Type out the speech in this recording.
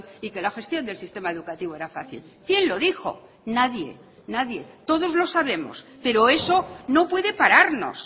y que la gestión del sistema educativo era fácil quién lo dijo nadie nadie todos lo sabemos pero eso no puede pararnos